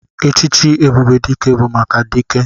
Echichi ebube dike bu maka dike.